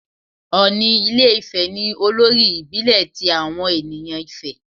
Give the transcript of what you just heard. Òni ilé Ifè ni olórí ìbílẹ̀ ti àwọn ènìyàn Ifè.